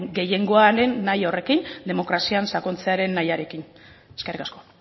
gehiengoaren nahia horrekin demokrazian sakontzearen nahiarekin eskerrik asko